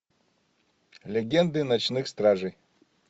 легенды ночных стражей